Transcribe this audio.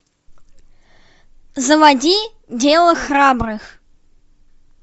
заводи дело храбрых